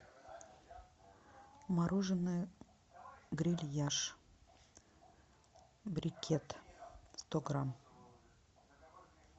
мороженое грильяж брикет сто грамм